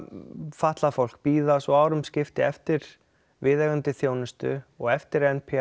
fatlað fólk bíða svo árum skipti eftir viðeigandi þjónustu og eftir n p